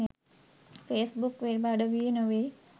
Face book web අඩවියේ නොවෙයි.